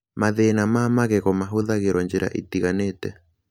Mathĩna ma magego mahũthagĩrũo njĩra itiganĩte.